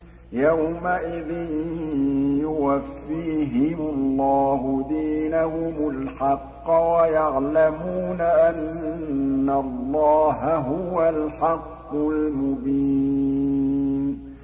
يَوْمَئِذٍ يُوَفِّيهِمُ اللَّهُ دِينَهُمُ الْحَقَّ وَيَعْلَمُونَ أَنَّ اللَّهَ هُوَ الْحَقُّ الْمُبِينُ